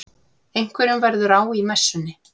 Einhverjum verður á í messunni